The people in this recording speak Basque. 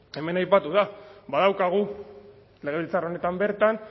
hemen aipatu da badaukagu legebiltzar honetan bertan